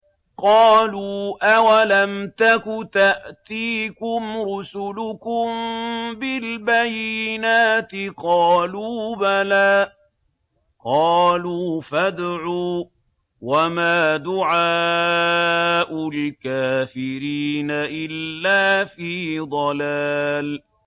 قَالُوا أَوَلَمْ تَكُ تَأْتِيكُمْ رُسُلُكُم بِالْبَيِّنَاتِ ۖ قَالُوا بَلَىٰ ۚ قَالُوا فَادْعُوا ۗ وَمَا دُعَاءُ الْكَافِرِينَ إِلَّا فِي ضَلَالٍ